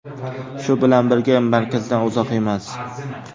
Shu bilan birga, markazdan uzoq emas.